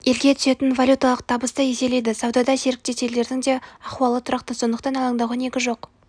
елге түсетін валюталық табысты еселейді саудада серіктес елдердің де ахуалы тұрақты сондықтан алаңдауға негіз жоқ